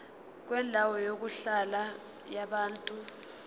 kwendawo yokuhlala yabantu